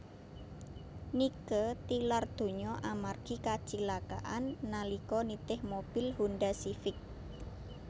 Nike tilar donya amargi kacilakan nalika nitih mobil Honda Civic